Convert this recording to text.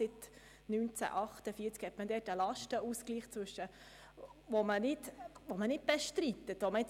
Dort gibt es einen Lastenausgleich, welcher nicht bestritten wird.